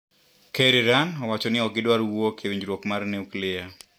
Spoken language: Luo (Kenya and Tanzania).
Ker Iran owachoni okgidwar wuok ewinjruok mar nuklia.